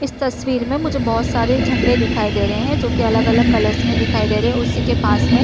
इस तस्वीर में मुझे बहोत सारे झंडे दिखाई दे रहे है जो की अलग-अलग कलर्स में दिखाई दे रहे है उसी के पास में--